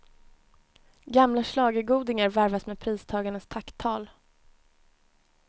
Gamla schlagergodingar varvas med pristagarnas tacktal.